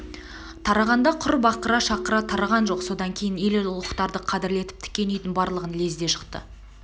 тарағанда құр бақыра шақыра тараған жоқ содан кейін ел ұлықтарды қадірлеп тіккен үйдің барлығын лезде жықты